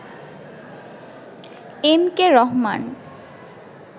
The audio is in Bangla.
M K Rahman